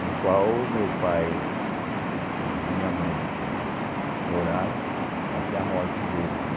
No qual o meu pai e minha mãe né moraram até a morte deles né.